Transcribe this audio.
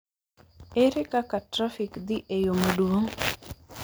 Ere kaka trafik dhi e yo maduong'